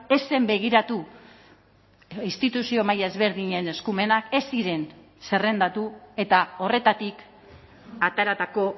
ez zen begiratu instituzio maila ezberdinen eskumenak ez ziren zerrendatu eta horretatik ateratako